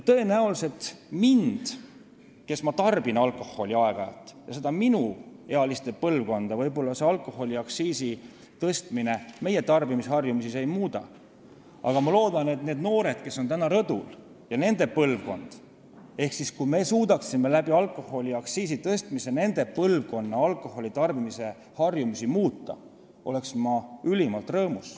Tõenäoliselt alkoholiaktsiisi tõstmine minu, kes ma tarbin alkoholi aeg-ajalt, ja minuealiste põlvkonna tarbimisharjumusi ei muuda, aga ma vaatan neid noori, kes on täna siin rõdul, ja võin öelda, et ma oleksin ülimalt rõõmus, kui me suudaksime alkoholiaktsiisi tõstmise abil nende põlvkonna alkoholitarbimise harjumusi muuta.